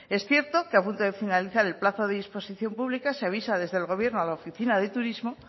es cierto que a punto de finalizar el plazo de disposición pública se avisa desde el gobierno a la oficina de turismo